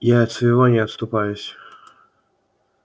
я от своего не отступаюсь